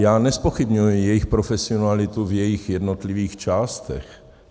Já nezpochybňuji jejich profesionalitu v jejích jednotlivých částech.